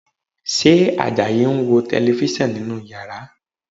Ṣé Àjàyí ń wo Tẹlifísàn nínú yàrá?